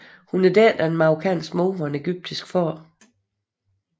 Hun er datter af marokkansk mor og en egyptisk far